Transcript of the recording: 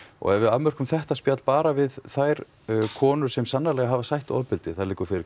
ef við afmörkum þetta spjall bara við þær konur sem sannarlega hafa sætt ofbeldi fyrir